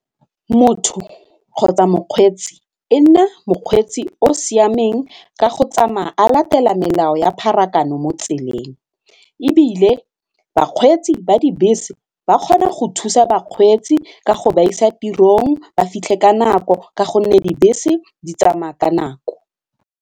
Motho kgotsa mokgweetsi e nne mokgweetsi o o siameng ka go tsamaya a latela melao ya pharakano mo tseleng ebile bakgweetsi ba dibese ba kgona go thusa bakgweetsi ka go ba isa tirong ba fitlhe ka nako ka gonne dibese di tsamaya ka nako.